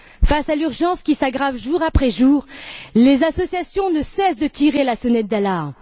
Face à l'urgence qui s'aggrave jour après jour, les associations ne cessent de tirer la sonnette d'alarme.